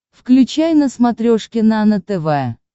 включай на смотрешке нано тв